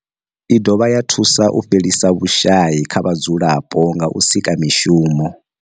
I dovha ya thusa u fhelisa vhushayi kha vhadzulapo nga u sika mishumo.